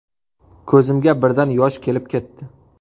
Ko‘zimga birdan yosh kelib ketdi.